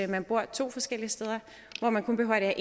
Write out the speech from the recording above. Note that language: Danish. man bor to forskellige steder hvor man kun behøver at